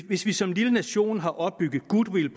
hvis vi som lille nation har opbygget goodwill